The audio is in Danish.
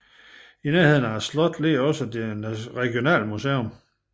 I nærheden af slottet ligger også det regionale museum